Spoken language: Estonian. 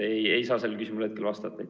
Ei saa sellele küsimusele vastata.